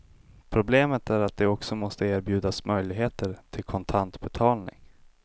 Problemet är att det också måste erbjudas möjligheter till kontant betalning.